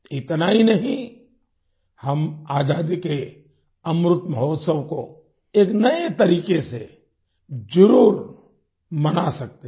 इतना ही नहीं हम आजादी के अमृत महोत्सव को एक नए तरीके से जरुर मना सकते हैं